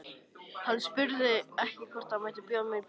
Hann spurði hvort ekki mætti bjóða mér í bíó.